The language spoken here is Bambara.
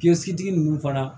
Kilosigi ninnu fana